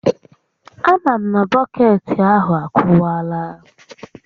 A ma m na bọkeetị ahụ akụwaala